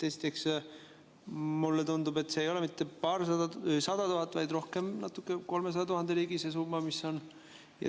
Esiteks, mulle tundub, et see summa ei ole mitte paarsada tuhat, vaid rohkem nagu kolmesaja tuhande ligi.